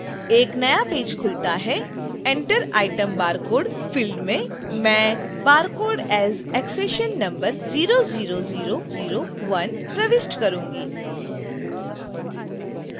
एक नया पेज खुलता है